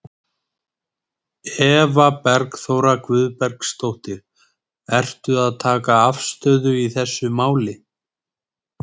Eva Bergþóra Guðbergsdóttir: Ertu að taka afstöðu í þessu máli?